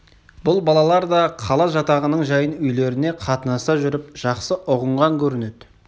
бұл балалар да қала жатағының жайын үйлеріне қатынаса жүріп жақсы ұғынған көрінеді